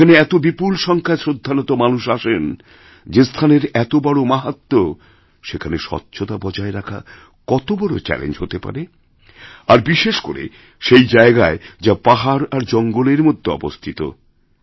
যেখানে এত বিপুলসংখ্যায় শ্রদ্ধানত মানুষ আসেন যে স্থানের এত বড় মাহাত্ম্য সেখানে স্বচ্ছতা বজায়রাখা কত বড় চ্যালেঞ্জ হতে পারে আর বিশেষ করে সেই জায়গায় যা পাহাড় আর জঙ্গলেরমধ্যে অবস্থিত